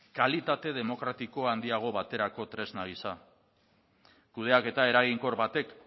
kalitate demokratiko handiago baterako tresna gisa kudeaketa eraginkor batek